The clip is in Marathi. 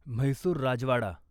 म्हैसूर राजवाडा